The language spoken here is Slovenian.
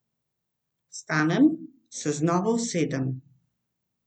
Vstanem, se znova usedem.